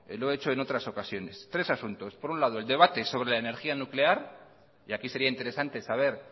lo he hecho en otras ocasiones por un lado el debate sobre la energía nuclear y aquí sería interesante saber